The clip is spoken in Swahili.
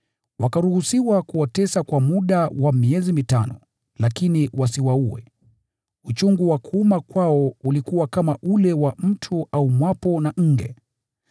Wakaruhusiwa kuwatesa kwa muda wa miezi mitano, lakini wasiwaue. Uchungu wa kuuma kwao ulikuwa kama ule wa mtu aumwapo na nge.